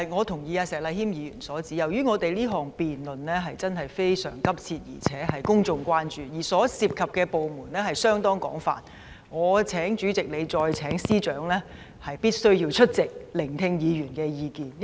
我同意石禮謙議員的意見，由於這項議案辯論的問題實在非常迫切，而且廣受公眾關注，加上涉及的部門廣泛，我請主席再次聯絡司長，邀請他們務必出席辯論，聆聽議員的意見。